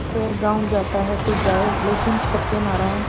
खैर गॉँव जाता है तो जाए लेकिन सत्यनारायण